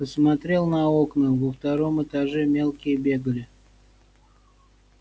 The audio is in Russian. посмотрел на окна во втором этаже мелкие бегали